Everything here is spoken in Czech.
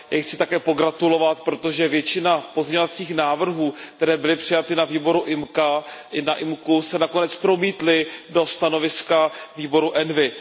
Já jí chci také pogratulovat, protože většina pozměňovacích návrhů, které byly přijaty na výboru IMCO, se nakonec promítly do stanoviska výboru ENVI.